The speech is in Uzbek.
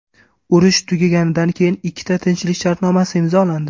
Urush tugaganidan keyin ikkita tinchlik shartnomasi imzolandi.